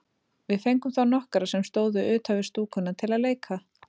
Við fengum þá nokkra sem stóðu utan við stúkuna til að leika.